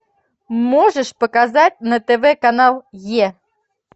можешь показать на тв канал е